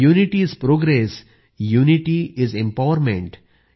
unity is progress unity is empowerment